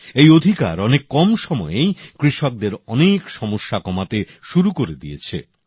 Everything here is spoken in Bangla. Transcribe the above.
এই অধিকার অনেক কম সময়েই কৃষকদের অনেক সমস্যা কমাতে শুরু করে দিয়েছে